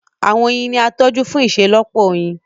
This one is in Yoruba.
Àwọn oyin ní a tójú fún iṣelọpọ oyin.